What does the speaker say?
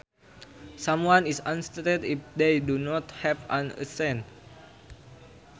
Someone is unaccented if they do not have an accent